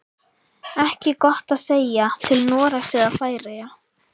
Ekki gott að segja, til Noregs eða Færeyja.